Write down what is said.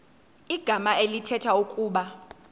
igama elithetha ukuba